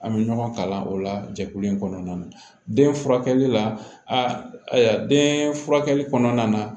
An bɛ ɲɔgɔn kalan o la jɛkulu in kɔnɔna na den furakɛli la a den furakɛli kɔnɔna na